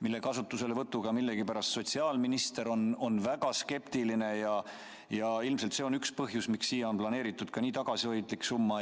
Nende kasutuselevõtu suhtes on sotsiaalminister olnud millegipärast väga skeptiline ja ilmselt see on üks põhjus, miks selleks on planeeritud nii tagasihoidlik summa.